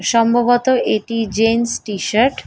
সম্ভবত এটি gents T shirt.